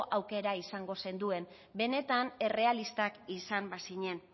aukera izango zenduen benetan errealistak izan bazinen